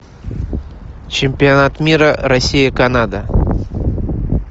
чемпионат мира россия канада